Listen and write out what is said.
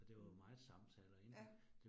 Mh. Ja